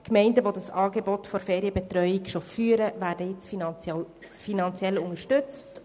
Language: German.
Die Gemeinden, die das Angebot der Ferienbetreuung bereits führen, werden heute finanziell unterstützt.